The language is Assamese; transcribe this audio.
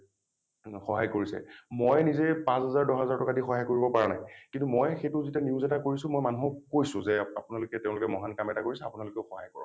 সহায় কৰিছে । মই নিজে পাঁচ হাজাৰ দশ হাজাৰ টকাই দি সহায় কৰিব পৰা নাই কিন্তু মই সেইটো যেতিয়া news এটা কৰিছো মই মানুহক কৈছোঁ যে আপোনালোকে , তেওঁলোকে মহান কাম এটা কৰিছে আপোনালোকেও সহায় কৰক ।